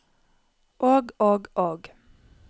og og og